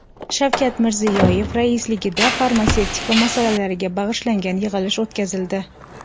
Shavkat Mirziyoyev raisligida farmatsevtika masalalariga bag‘ishlangan yig‘ilish o‘tkazildi.